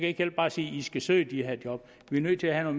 ikke hjælpe bare at sige at de skal søge de her job vi nødt til at have